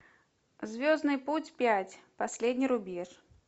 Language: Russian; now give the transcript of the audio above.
звездный путь пять последний рубеж